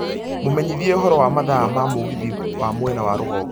mũmenyithie ũhoro wa mathaa ma mũgithi wa mwena wa rũgongo